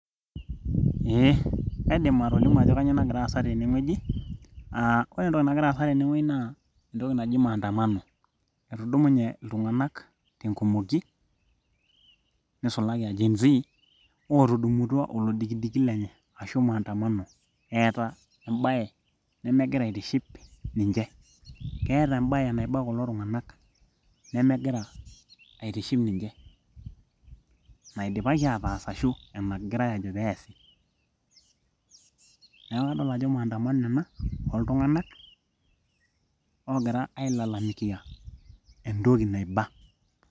ee kaidim atolimu ajo kanyio nagira aasa tenewueji uh, ore entoki nagira aasa tenewueji naa entoki naji maandamano etudumunye iltung'anak tenkumoki nisulaki gen z otumutua olodikidiki lenye ashu maandamano eeta embaye nemegira aitiship ninche keeta embayee naiba kulo tuing'anak nemegira aitiship ninche naidipaki ataas ashu enagirae ajo peesi neeku kadol ajo maandamano ena oltung'anak oogira ailalamikia entoki naiba.